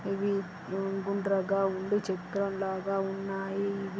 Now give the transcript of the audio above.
ఇది హు గుండ్రంగా ఉండి చక్రంలాగా ఉన్నాయి. ఇవి--